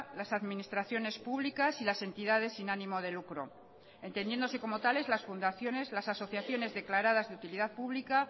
las administraciones públicas y las entidades sin ánimo de lucro entendiéndose como tales las fundaciones las asociaciones declaradas de utilidad pública